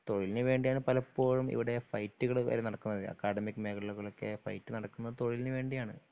തൊഴിലിനു വേണ്ടിയാണു പലപ്പോഴും ഇവിടെ ഫൈറ്റുകൾ വരെ നടക്കുന്നത് അക്കാഡമിക്ക് മേഖലകളിലൊക്കെ ഫൈറ്റു നടക്കുന്നത് തൊഴിലിനു വേണ്ടിയാണു.